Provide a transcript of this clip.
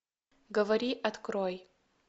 говори открой